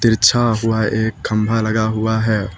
बिछा हुआ एक खम्भा लगा हुआ है।